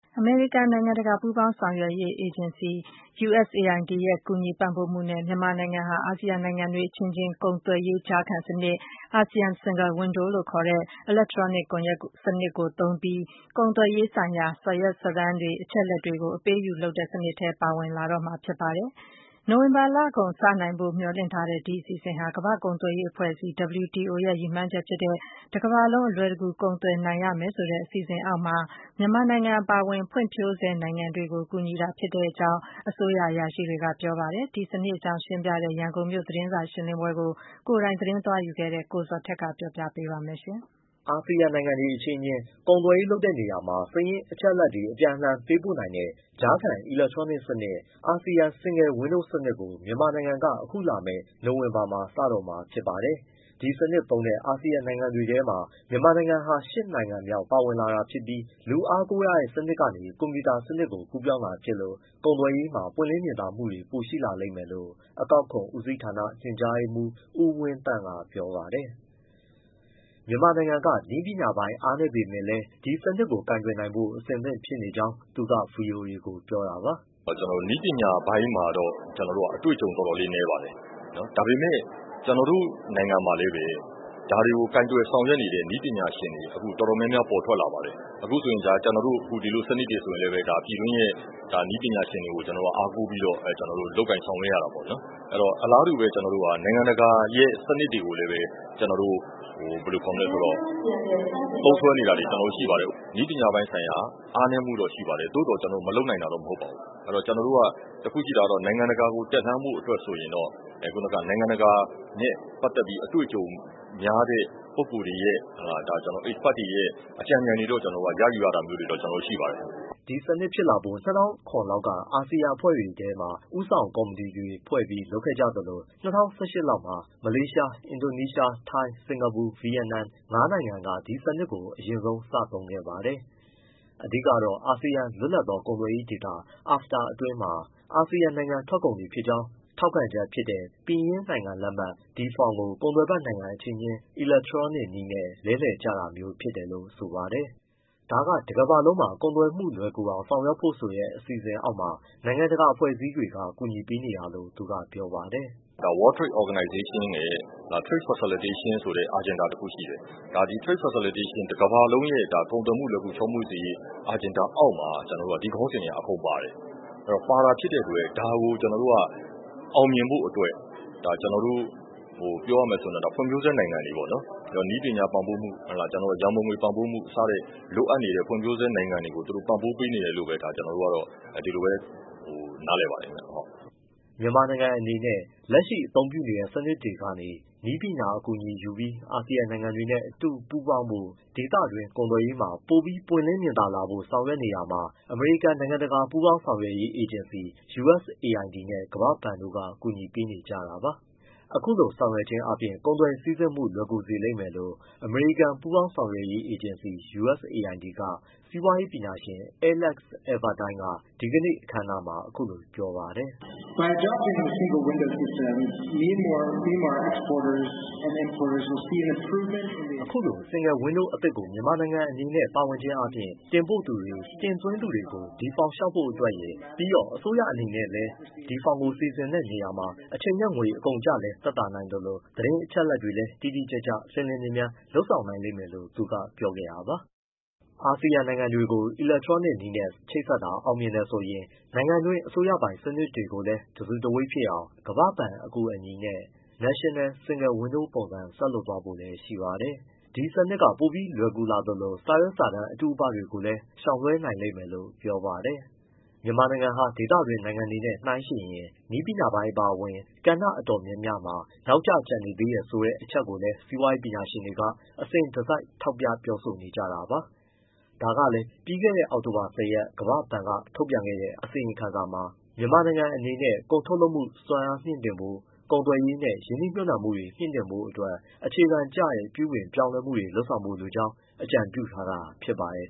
အမေရိကန် နိုင်ငံတကာ ပူးပေါင်းဆောင်ရွက်ရေး အေဂျင်စီ USAID ရဲ့ ကူညီ ပံ့ပိုးမှုနဲ့ မြန်မာနိုင်ငံဟာ အာဆီယံနိုင်ငံတွေ အချင်းချင်း ကုန်သွယ်ရေးကြားခံစနစ် ASEAN Single Window လို့ခေါ်တဲ့ အီလက်ထရောနစ် ကွန်ရက်စနစ်ကိုသုံးပြီး ကုန်သွယ်ရေးဆိုင်ရာ စာရွက်စာတမ်း၊ အချက်အလက်တွေကို အပေးအယူလုပ်တဲ့စနစ်ထဲ ပါဝင်လာတော့မှာဖြစ်ပါတယ်။ နိုဝင်ဘာလကုန် စနိုင်လိမ့်မယ်လို့ မေ ျှာ်လင့်ရတဲ့ ဒီအစီအစဉ်ဟာ ကမ္ဘာ့ကုန်သွယ်ရေး အဖွဲ့အစည်း WTO ရဲ့ ရည်မှန်းချက်ဖြစ်တဲ့ တကမ္ဘာလုံး ကုန်သွယ်မှု အလွယ်တကူ ပြုလုပ်နိုင်ရမယ်ဆိုတဲ့ အစီအစဉ်အောက်မှာ မြန်မာအပါအဝင် ဖွံ့ဖြိုးဆဲနိုင်ငံတွေကို ကူညီပေးတာဖြစ်ကြောင်း အစိုးရ အရာရှိတွေက ပြောပါတယ်။ ဒီစနစ်အကြောင်း ရှင်းပြတဲ့ ရန်ကုန်မြို့ သတင်းစာရှင်းလင်းပွဲမှာ ကိုယ်တိုင် သတင်းသွားယူခဲ့တဲ့ ကိုဇော်ထက်က တင်ပြပေးပါမယ်။ အာဆီယံနိုင်ငံတွေ အချင်းအချင်း ကုန်သွယ်ရေးလုပ်တဲ့ နေရာမှာ စာရင်း အချက်အလက်တွေ အပြန်အလှန်ပေးပို့နိုင်တဲ့ ကြားခံ အီလက်ထရောနစ်စနစ် ASEAN Single Window စနစ်ကို မြန်မာနိုင်ငံက အခုလာမယ့် နိုဝင်ဘာကုန်မှာ စတော့မှာဖြစ်ပါတယ်။ ဒီစနစ်သုံးတဲ့ အာဆီယံနိုင်ငံတွေထဲမှာ မြန်မာနိုင်ငံက နိုင်ငံမြောက် ပါဝင်လာတာဖြစ်ပြီး၊ လူအားကိုးရတဲ့စနစ်ကနေ၊ ကွန်ပျူတာ စနစ်ကိုကူးပြောင်းတာ ဖြစ်လို့ ကုန်သွယ်ရေးမှာ ပွင့်လင်းမြင်သာမှုတွေ ပိုရှိလာလိမ့်မယ်လို့ အကောက်ခွန်ဦးစီးဌာန ညွှန်ကြားရေးမှူး ဦးဝင်းသန့်က ပြောပါတယ်။ မြန်မာနိုင်ငံအနေနဲ့ နည်းပညာပိုင်း အားနည်းပေမဲ့လည်း ဒီစနစ်ကို ကိုင်တွယ်နိုင်ဖို့ အဆင့်သင့်ဖြစ်နေကြောင်း သူက ဗွီအိုအေကို ပြောတာပါ။ “ နည်းပညာပိုင်းမှာတော့ ကျနော်တို့က အတွေ့အကြုံ အတော်လေး နည်းပါတယ်။ ဒါပေမဲ့ ကျနော်တို့ နိုင်ငံမှာလည်းပဲ ဒါတွေကို ကိုင်တွယ် ဆောင်ရွက်နေတဲ့ နည်းပညာရှင်တွေ အတော်များများ ပေါ်ထွက်လာပါတယ်။ ဒီလိုစနစ်တွေ ဆိုရင်လည်း ပြည်တွင်းရဲ့ ပြည်တွင်းက နည်းပညာရှင်တွေကို အားကိုးပြီး လုပ်ကိုင်ဆောင်ရွက်ရတာ ပေါ့နော်။ အလားတူပဲ နိုင်ငံတကာရဲ့ စနစ်တွေကိုလည်းပဲ သုံးစွဲနေတာတွေ ရှိပါတယ်။ နည်းပညာပိုင်းဆိုင်ရာ အားနည်းမှုတော့ ရှိပါတယ်။ သို့သော် ကျနော်တို့ မလုပ်နိုင်တာတော့ မဟုတ်ပါဘူး။ တခုရှိတာက နိုင်ငံတကာကို တက်လှမ်းဖို့ အတွက်ဆိုရင်တော့ နိုင်ငံတကာနဲ့ ပတ်သက်ပြီး အတွေ့အကြုံများတဲ့ ပုဂ္ဂိုလ်တွေရဲ့ expert တွေရဲ့ အကြံဉာဏ်တွေတော့ ရယူရတာမျိုး ရှိပါတယ်။” ဒီစနစ်ကို ဖြစ်လာဖို့ ၂၀၀၇ လောက်မှာ အာဆီယံအဖွဲ့တွေထဲ ဦးဆောင်ကော်မတီတွေဖွဲ့ပြီး လုပ်ခဲ့ကြသလို၊ ၂၀၁၈ လောက်မှာ မလေးရှား၊ အင်ဒိုနီးရှား၊ ထိုင်း၊ စင်္ကာပူ၊ ဗီယက်နမ် ငါးနိုင်ငံက ဒီစနစ်ကို အရင်ဆုံးစသုံးခဲ့ပါတယ်။ အဓိကတော့ အာဆီယံ လွတ်လပ်သော ကုန်သွယ်ရေးဒေသ AFTA အတွင်းမှာ အာဆီယံနိုင်ငံထွက်ကုန်ဖြစ်ကြောင်း ထောက်ခံချက်ဖြစ်တဲ့ ပင်ရင်းနိုင်ငံလက်မှတ် D-Form ကို ကုန်သွယ်ဖက်နိုင်ငံ အချင်းချင်း အီလက်ထရောနစ်နည်းနဲ့ လဲလှယ်ကြတာမျိုးဖြစ်တယ်လို့ ဆိုပါတယ်။ ဒါက တကမ္ဘာလုံးမှာ ကုန်သွယ်မှုလွယ်ကူအောင် ဆောင်ရွက်ဖို့ဆိုတဲ့ အစီအစဉ်အောက်မှာ နိုင်ငံတကာအဖွဲ့အစည်းတွေက ကူညီပေးနေတာလို့ သူကပြောပါတယ်။ “ World Trade Organization ရဲ့ Trade facilitation ဆိုတဲ့ Agenda တစ်ခုရှိတယ်။ တကမ္ဘာလုံးရဲ့ ကုန်သွယ်မှု လွယ်ကူ ချောမွေ့စေရေး Agenda အောက်မှာ ဒီခေါင်းစဉ်တွေက အကုန်ပါတယ်။ ပါတာဖြစ်တဲ့အတွက် ဒါကို ကျနော်တို့က အောင်မြင်ဖို့အတွက်၊ ပြောရမယ်ဆိုရင် ကျနော်တို့ ဖွံ့ဖြိုးဆဲနိုင်ငံတွေ၊ နည်းပညာပံ့ပိုးမှု၊ ရံပုံငွေ ပံ့ပိုးမှု၊ စတဲ့ လိုအပ်နေတဲ့ ဖွံ့ဖြိုးဆဲနိုင်ငံတွေကို သူတို့ ပံ့ပိုးပေးနေတယ် လို့ပဲ ကျနော်တို့ နားလည်ပါတယ်။” မြန်မာနိုင်ငံ အနေနဲ့ လက်ရှိအသုံးပြုနေတဲ့ စနစ်တွေကနေ နည်းပညာအကူအညီယူပြီး အာဆီယံ နိုင်ငံတွေနဲ့ အတူပူးပေါင်းဖို့၊ ဒေသတွင်း ကုန်သွယ်ရေးမှာ ပိုပြီးပွင့်လင်းမြင်သာလာဖို့ ဆောင်ရွက်နေတာမှာ အမေရိကန် နိုင်ငံတကာ ပူးပေါင်းဆောင်ရွက်ရေး အေဂျင်စီ USAID နဲ့ ကမ္ဘာ့ဘဏ်တို့ ကူညီပေးကြတာပါ။ အခုလို လုပ်ဆောင်ခြင်းအားဖြင့် ကုန်စည် စီးဆင်းမှု လွယ်ကူစေမယ်လို့ အမေရိကန် ပူးပေါင်းဆောင်ရွက်ရေး အေဂျင်စီ USAID က စီးပွားရေးပညာရှင် Alex Albertine က ဒီကနေ့ အခမ်းအနားမှာ အခုလို ပြောပါတယ်။ “ အခုလို Single Window အသစ်ကို မြန်မာနိုင်ငံအနေနဲ့ ပါဝင်ခြင်းအားဖြင့် တင်ပို့သူတွေ၊ တင်သွင်းသူတွေ D-Form ကို လျှောက်ဖို့ အတွက်ရယ်၊ ပြီးတော့ အစိုးရအနေနဲ့လည်း D-Form ကို စီစဉ်တဲ့နေရာမှာ အချိန်နဲ့ငွေ အကုန်အကျလည်း သက်သာနိုင်သလို၊ သတင်းအချက်အလက်တွေတိတိကျကျနဲ့ လျှင်လျှင်မြန်မြန် လုပ်ဆောင်နိုင်မှာပါ။” အာဆီယံနိုင်ငံတွေကို အီလက်ထရောနစ်နည်းနဲ့ ချိတ်ဆက်တာ အောင်မြင်တယ်ဆိုရင် နိုင်ငံတွင်း အစိုးရပိုင် စနစ်တွေကိုလည်း တစုတဝေး ဖြစ်အောင် ကမ္ဘာ့ဘဏ် အကူအညီနဲ့ National Single Window ပုံစံဆက်လုပ်သွားဖို့လည်း ရှိပါတယ်။ ဒီစနစ်က ပိုပြီး လွယ်ကူလာသလို၊ စာရွက်စာတန်းတွေ အတုအပကိုလည်း ရှောင်လွှဲနိုင်မယ်လို့ ပြောပါတယ်။ မြန်မာနိုင်ငံဟာ ဒေသတွင်းနိုင်ငံတွေနဲ့ နိုင်းယှဉ်လိုက်ရင် နည်းပညာပိုင်းအပါအဝင် ကဏ္ဍအတော်များများမှာ နောက်ကျ ကျန်နေသေးတယ်ဆိုတဲ့ အချက်ကို စီးပွားရေး ပညာရှင်တွေက အစဉ်တစိုက် ထောက်ပြ ပြောဆိုနေကြတာပါ။ ဒါကြောင့်လည်း ပြီးခဲ့တဲ့ အောက်တိုဘာ ၁၀ ရက်နေ့က ကမ္ဘာ့ဘဏ်က ထုတ်ပြန်တဲ့ အစီရင်ခံစာမှာ မြန်မာနိုင်ငံ အနေနဲ့ ကုန်ထုတ်လုပ်မှုစွမ်းအားမြင့်တင်ဖို့၊ ကုန်သွယ်ရေးနဲ့ ရင်းနှီးမြုပ်နှံမှုတွေ မြင့်တင်ဖို့တို့ အတွက် အခြေခံကျတဲ့ ပြုပြင်ပြောင်းလဲမှုတွေ လုပ်ဆောင်ဖို့ လိုအပ်ကြောင်း အကြံပြုထားတာ ဖြစ်ပါတယ်